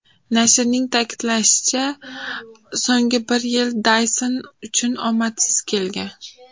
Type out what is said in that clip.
Nashrning ta’kidlashicha, so‘nggi bir yil Dayson uchun omadsiz kelgan.